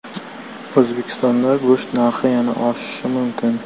O‘zbekistonda go‘sht narxi yana oshishi mumkin.